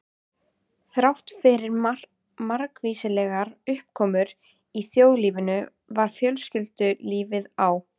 Þráttfyrir margvíslegar uppákomur í þjóðlífinu var fjölskyldulífið á